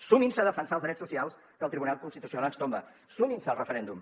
sumin se a defensar els drets socials que el tribunal constitucional ens tomba sumin se al referèndum